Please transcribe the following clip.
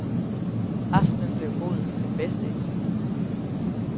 Aftenen blev god, den bedste indtil nu.